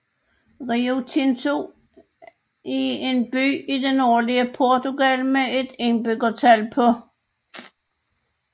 Rio Tinto er en by i det nordlige Portugal med et indbyggertal på